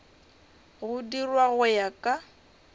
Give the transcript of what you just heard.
go dirwa go ya ka